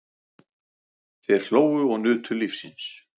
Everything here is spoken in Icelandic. Þeir hlógu og nutu lífsins.